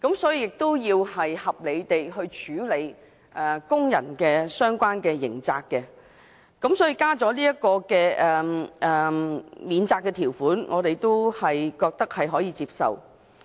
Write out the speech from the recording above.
所以，我們要合理地處理工人的相關刑責。所以，加入這項免責條款，我們覺得可以接受。